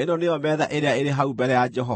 “Ĩno nĩyo metha ĩrĩa ĩrĩ hau mbere ya Jehova.”